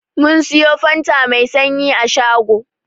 Mun siyo fanta Mai sanyi a shago.